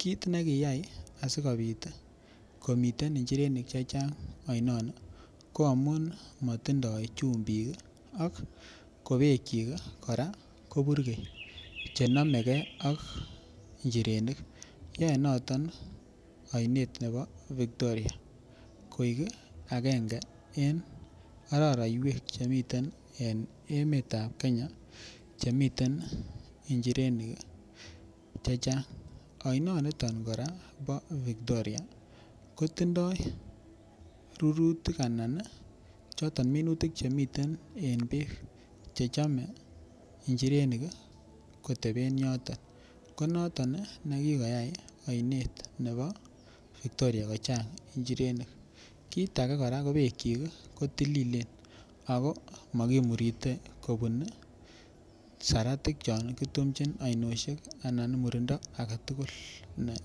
Kit nekayai asikopit komiten inchirenik chechang oinoni ko amun motindoi chumbik kii ak kobeek chik Koraa ko burgei chenomegee ak inchirenik, yoe noto oinet nebo Victoria koik agenge en ororeiwek chemiten en emetab Kenya chemiten inchirenik chechang. Oinoniton nibo Victoria kotindoi rurutik ana choton minutik chemiten en beek chechome inchirenik koteben yoton ko noton nii nekikoyai oinet nebo Victoria kochang inchirenik kit age koraa ko beek kyik kotililen ako mokimurite kobun saratik cho kiyumchi aoinoshek anan murindo agetukul ne.